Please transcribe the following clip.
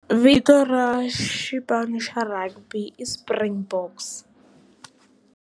Vito ra xipano xa Rugby i Springboks.